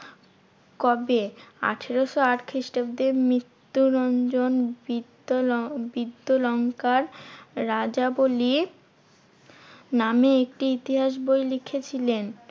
কবে? আঠেরোশো আট খ্রিস্টাব্দে মৃত্যুরঞ্জন বিদ্দ্বলং~ বিদ্যালঙ্কার রাজাবলি নামে একটি ইতিহাস বই লিখেছিলেন।